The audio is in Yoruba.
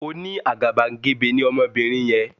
Oní àgàbàgebè ní Ọmọbinrin yen